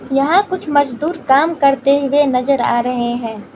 यहाँ कुछ मजदूर काम करते हुए नज़र आ रहे हैं।